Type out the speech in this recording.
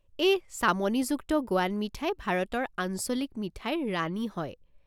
এই চামনিযুক্ত গোৱান মিঠাই ভাৰতৰ আঞ্চলিক মিঠাইৰ ৰাণী হয়।